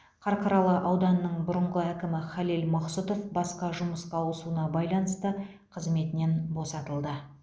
қарқаралы ауданының бұрынғы әкімі халел мақсұтов басқа жұмысқа ауысуына байланысты қызметінен босатылды